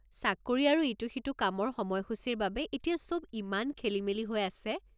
চাকৰি আৰু ইটো সিটো কামৰ সময়সূচিৰ বাবে এতিয়া চব ইমান খেলিমেলি হৈ আছে।